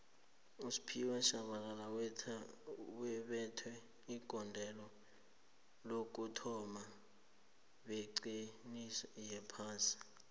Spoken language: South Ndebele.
usphiwe shabalala wabetha igondelo lokuthoma lebhigixi yophasi